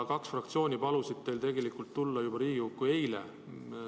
Kaks fraktsiooni palusid teil tegelikult tulla Riigikokku juba eile.